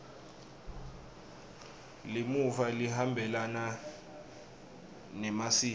limuva lihambelana nemasiko